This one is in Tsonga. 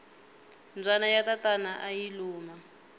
mbyana ya tatana ayi luma